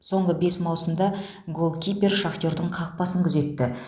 соңғы бес маусымда голкипер шахтердің қақпасын күзетті